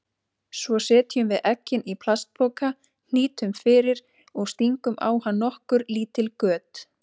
Svo setjum við eggin í plastpoka, hnýtum fyrir og stingum á hann nokkur lítil göt.